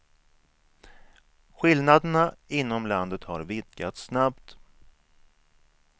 Skillnaden inom landet har vidgats snabbt.